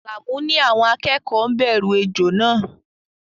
Alamu ní àwọn akẹ́kọ̀ọ́ ńbẹ̀rù ejò náà